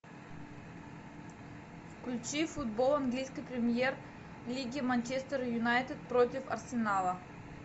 включи футбол английской премьер лиги манчестер юнайтед против арсенала